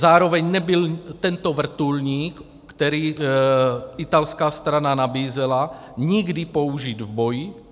Zároveň nebyl tento vrtulník, který italská strana nabízela, nikdy použit v boji.